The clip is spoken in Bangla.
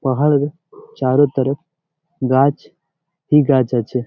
পাহাড়ের চারতরফ গাছ এই গাছ আছে ।